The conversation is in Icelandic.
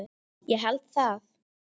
Ég held það,